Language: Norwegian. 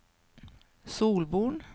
Solvorn